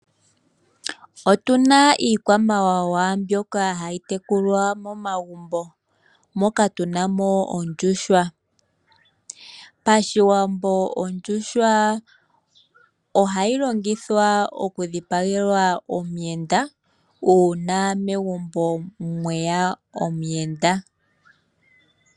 Otu na iikwamawawa mbyoka hayi tekulwa momagumbo moka, tu na mo ondjuhwa. Pashiwambo ondjuhwa oha yi longithwa okudhipagelwa omuyenda uuna megumbo mweya omuyenda.